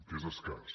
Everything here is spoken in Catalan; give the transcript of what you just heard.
que és escàs